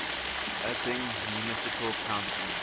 open municipal council